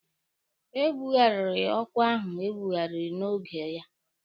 E bughariri ọkwa ahụ ebughari n'oge ya